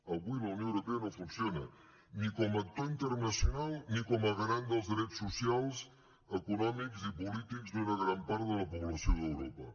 avui la unió europea no funciona ni com a actor internacional ni com a garant dels drets socials econòmics i polítics d’una gran part de la població d’europa